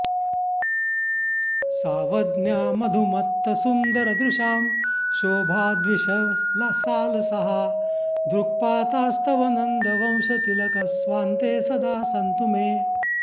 सावज्ञा मधुमत्तसुन्दरदृशां शोभाद्विषः सालसाः दृक्पातास्तव नन्दवंशतिलक स्वान्ते सदा सन्तु मे